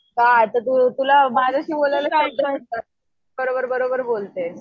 का आता तुला माझ्याशी बोलायला बरोबर बरोबर बोलतेस.